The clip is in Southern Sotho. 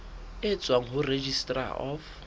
e tswang ho registrar of